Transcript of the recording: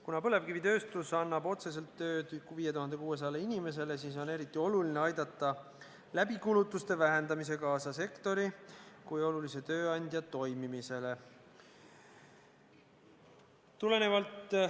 Kuna põlevkivitööstus annab otseselt tööd 5600 inimesele, siis on eriti oluline aidata kulutuste vähendamisega kaasa sektori kui olulise tööandja toimimisele.